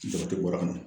Jate bɔra